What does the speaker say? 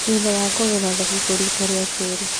Thutha wa kũgetha thabibũ, riita rĩa kerĩ